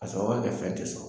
A sɔrɔ ka kɛ fɛn te so